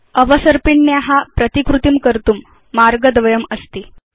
अवसर्पिण्या प्रतिकृतिं कर्तुं मार्गद्वयमस्ति